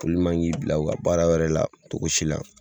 Olu man k'i bila u ka baara wɛrɛ, la cogo si la.